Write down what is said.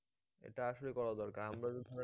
এটা আসলে করা দরকার আমরা তো ধরো